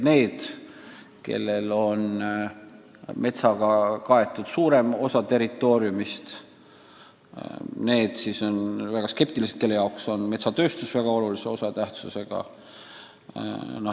Need riigid, kellel on metsaga kaetud suurem osa territooriumist, on selles suhtes väga skeptilised, nende jaoks on metsatööstus väga tähtis.